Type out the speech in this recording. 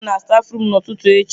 Ị ga-ahụ m n'stafurum n'ụtụtụ echi.